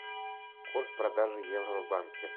курс продажи евро в банке